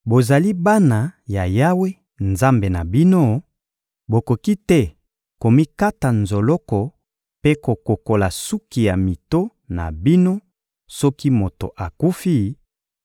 Bozali bana ya Yawe, Nzambe na bino: Bokoki te komikata nzoloko mpe kokokola suki ya mito na bino soki moto akufi,